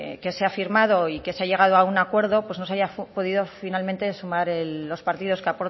que se ha firmado y que se ha llegado a un acuerdo pues no se haya podido finalmente sumar los partidos que